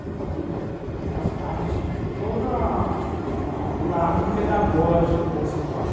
Então, eu faço parte de toda a o lado pedagógico da escola.